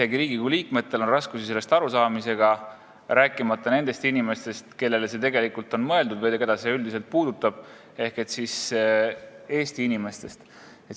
Ka Riigikogu liikmetel on raskusi sellest arusaamisega, rääkimata nendest inimestest, kellele see tegelikult on mõeldud või keda see üldiselt puudutab ehk siis Eesti inimestest.